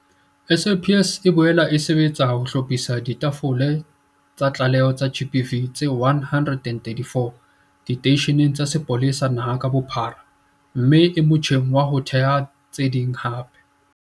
SAPS e boela e sebetsa ka ho hlophisa ditafole tsa ditlaleho tsa GBV tse 134 diteisheneng tsa sepolesa naha ka bophara mme e motjheng wa ho theha tse ding hape.